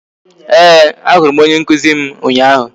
Ee, a hụrụ m onye nkụzi m ụnyaahụ